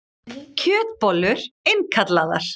Kjötbollur innkallaðar